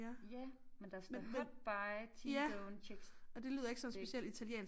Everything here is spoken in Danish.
Ja men der står hot buy t-bone chick stick